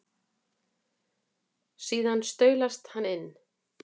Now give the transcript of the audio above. Síðan staulast hann inn.